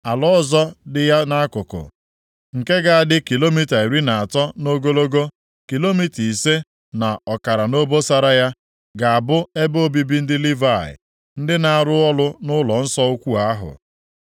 Ala ọzọ dị ya nʼakụkụ, nke ga-adị kilomita iri na atọ nʼogologo, kilomita ise na ọkara nʼobosara ya, ga-abụ ebe obibi ndị Livayị, ndị na-arụ ọrụ nʼụlọnsọ ukwuu ahụ.